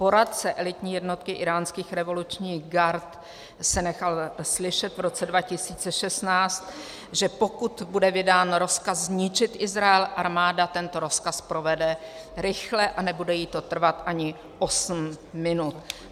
Poradce elitní jednotky íránských revolučních gard se nechal slyšet v roce 2016, že pokud bude vydán rozkaz zničit Izrael, armáda tento rozkaz provede rychle a nebude jí to trvat ani osm minut."